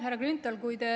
Härra Grünthal!